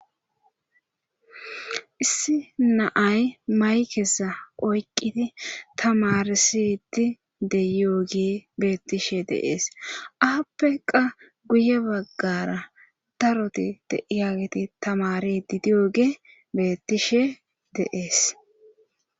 issi naay maykeza oyqidi tamarsidi de yooge beettishe deees appeqa guye baggara daroti diyaageti tamarididiyoge beettishe de'es